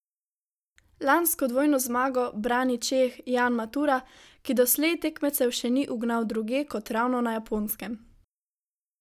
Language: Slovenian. Lansko dvojno zmago brani Čeh Jan Matura, ki doslej tekmecev še ni ugnal drugje kot ravno na Japonskem.